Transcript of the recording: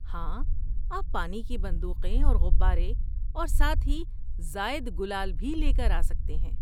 ہاں، آپ پانی کی بندوقیں اور غبارے، اور ساتھ ہی زائد گلال بھی لے کر آسکتے ہیں۔